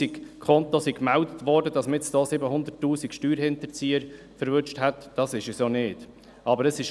Es ist nicht so, dass man 700 000 Steuerhinterzieher erwischt hat, wenn 700 000 Konten gemeldet wurden.